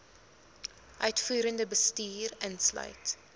uitvoerende bestuur insluit